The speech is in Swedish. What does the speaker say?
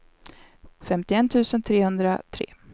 femtioett tusen trehundratre